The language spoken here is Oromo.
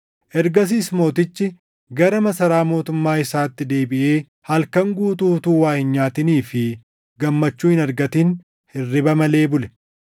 Ergasiis mootichi gara masaraa mootummaa isaatti deebiʼee halkan guutuu utuu waa hin nyaatinii fi gammachuu hin argatin hirriba malee bule.